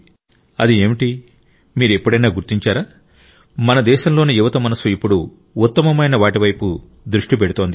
అది ఏమిటి మీరు ఎప్పుడైనా గుర్తించారా మన దేశంలోని యువత మనస్సు ఇప్పుడు ఉత్తమమైన వాటి వైపు దృష్టి పెడుతోంది